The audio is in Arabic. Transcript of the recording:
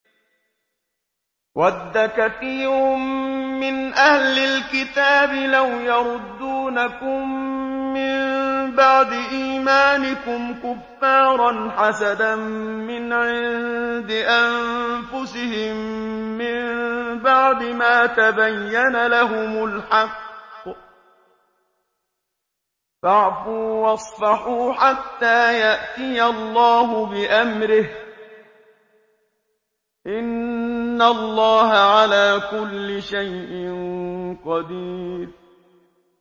وَدَّ كَثِيرٌ مِّنْ أَهْلِ الْكِتَابِ لَوْ يَرُدُّونَكُم مِّن بَعْدِ إِيمَانِكُمْ كُفَّارًا حَسَدًا مِّنْ عِندِ أَنفُسِهِم مِّن بَعْدِ مَا تَبَيَّنَ لَهُمُ الْحَقُّ ۖ فَاعْفُوا وَاصْفَحُوا حَتَّىٰ يَأْتِيَ اللَّهُ بِأَمْرِهِ ۗ إِنَّ اللَّهَ عَلَىٰ كُلِّ شَيْءٍ قَدِيرٌ